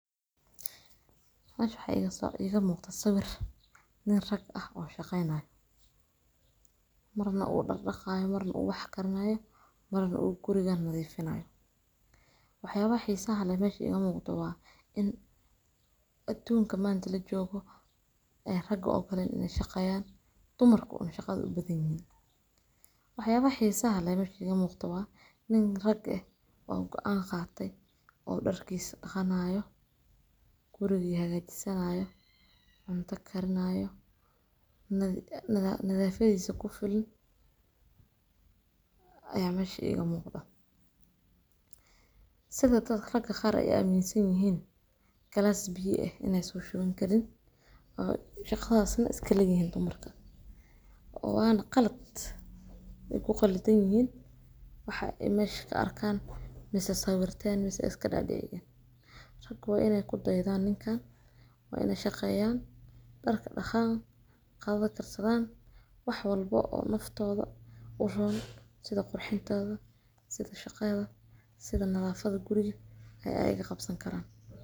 Meshaan waxa iga muuqda sawir nin rag ah oo shaqaynayo, marna uu dhar dhaqaayo, marna uu wax karnayo, marna uu gurigaan maday finaanayo. Waxyaabo wixii sahal ay meeshi gaab ahaan waan in Aduunka maanta la joogo ee raga oo kale inay shaqayaan dumarka una shaqad u badan yahay. Waxyaabo wixii sahal ay meeshii gaab ahaan in rag ah oo aan qaatay, oo dharka dhaqanaayo, gurigii hagaajisanaayo, cunta karnaa iyo nadiif, nadaafada ku filan. Ayaa meeshi gaab ahaan ah. Sadad taas rag gaar ah ayaa miisan yihiin kalaas biyi ah inay soo sheegan karin oo shaqadaasna iska lagayaan dumarka. Oo baan qalad ay ku qallatan yihiin? Waxa ay meesh ka arkaan masaasaawirtaan meeska iska dhexeegaan. Rag waana inay ku daydaan in kaan. Waana shaqeeyaan darka dhaqaan. Qaadada kartaan wax walbo oo naftooda u roon sida qurxintooda, sida shaqada, sida nadiifada guriga ah ayaga qabsan karaan.